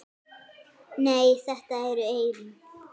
Nei, þetta eru eyrun.